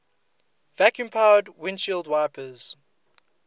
vacuum powered windshield wipers